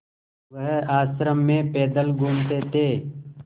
वह आश्रम में पैदल घूमते थे